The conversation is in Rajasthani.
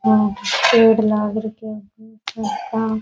यहाँ पेड़ लाग रखे है --